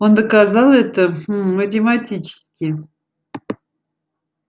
он доказал это гм математически